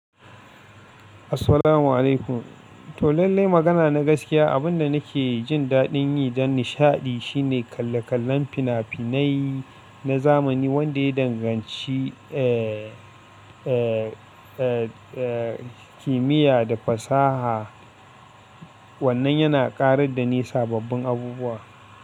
Assalamu'alaikum. To lallai magana na gaskiya, abinda nake jin daɗin yi dan nishaɗi shine kalle-kallen fina-finai na zamani wanda ya danganci, eh, eh, eh, eh, kimiyya da fasaha. Wannan yana ƙarar da ni sababbin abubuwa.